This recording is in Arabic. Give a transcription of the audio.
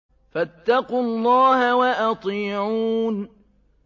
فَاتَّقُوا اللَّهَ وَأَطِيعُونِ